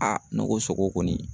ne ko sogo kɔni